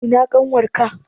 Ina ƙanwar ka?